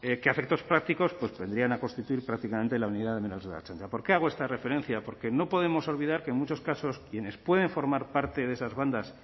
que a efectos prácticos vendrían a constituir prácticamente la unidad de menores de la ertzaintza por qué hago esta referencia porque no podemos olvidar que en muchos casos quienes pueden formar parte de esas bandas